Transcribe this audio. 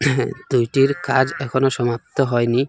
দুইটির কাজ এখনও সমাপ্ত হয়নি।